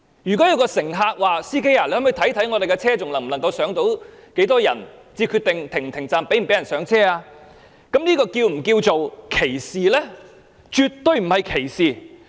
如果有位乘客向司機問道，看看巴士上還有多少空間，再決定是否停站讓人上車，這又是否稱為歧視呢？